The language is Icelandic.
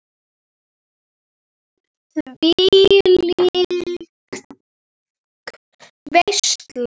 Þvílík veisla.